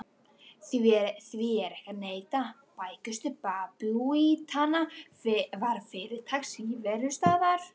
Því er ekki að neita: bækistöð babúítanna var fyrirtaks íverustaður.